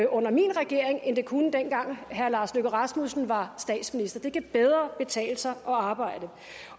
under min regering end det kunne dengang herre lars løkke rasmussen var statsminister det kan bedre betale sig at arbejde